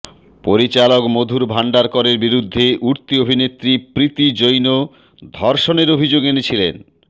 পরিচালক মধুর ভান্ডারকরের বিরুদ্ধে উঠতি অভিনেত্রী প্রীতি জৈন ধর্ষণের অভিযোগ এনেছিলেন